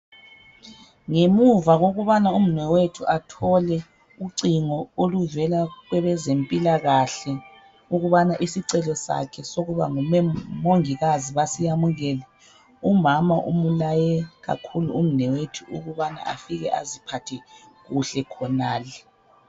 Ngemuva kokubana umnewethu athole ucingo oluvela kwebezempilakahle ukubana isicelo sakhe sokuba ngumongikazi basiyamukele. Umama umulaye kakhulu umnewethu ukubana afike aziphathe kuhle khonale.